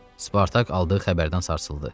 Spartak aldığı xəbərdən sarsıldı.